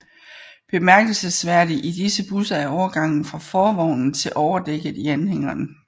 Bemærkelsesværdig i disse busser er overgangen fra forvognen til overdækket i anhængeren